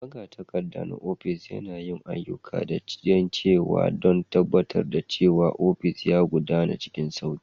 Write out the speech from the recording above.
Magatakarda na ofis, yana yin ayyuka da yawa don tabbatar da cewa ofis yana gudana cikin sauƙi.